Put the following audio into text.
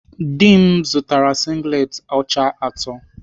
Dị m zụtara singlet ọcha atọ.